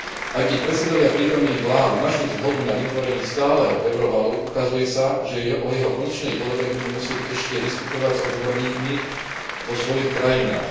Aj keď predsedovia prítomných vlád našli zhodu na vytvorení stáleho eurovalu, ukazuje sa, že o jeho konečnej podobe budú musieť ešte diskutovať s odborníkmi vo svojich krajinách.